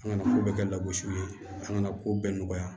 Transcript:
An kana ko bɛɛ kɛ lagosi ye an kana ko bɛɛ nɔgɔya